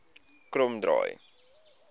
kromdraai